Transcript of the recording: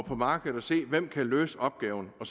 på markedet og se hvem der kan løse opgaven og